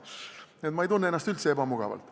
Nii et ma ei tunne ennast üldse ebamugavalt.